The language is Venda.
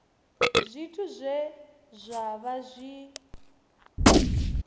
zwithu zwe zwa vha zwi